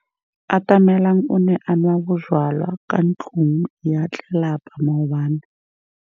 Atamelang o ne a nwa bojwala kwa ntlong ya tlelapa maobane.